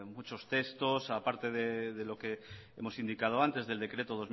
muchos textos aparte de lo que hemos indicado antes del decreto